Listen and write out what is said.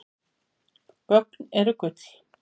Gögn eru gull